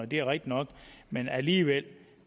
det er rigtigt nok men alligevel